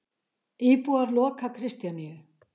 Íbúar loka Kristjaníu